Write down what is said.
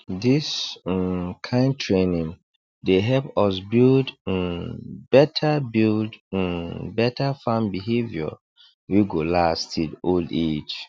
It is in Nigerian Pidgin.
this um kind training dey help us build um better build um better farm behavior wey go last till old age